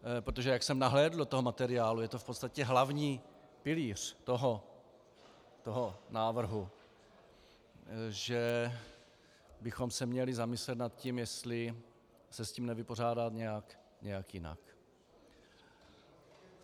Protože jak jsem nahlédl do toho materiálu, je to v podstatě hlavní pilíř toho návrhu - že bychom se měli zamyslet nad tím, jestli se s tím nevypořádat nějak jinak.